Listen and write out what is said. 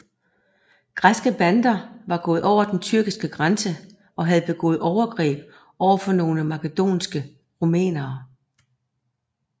Græske bander var gået over den tyrkiske grænse og havde begået overgreb over for nogle makedoniske rumænere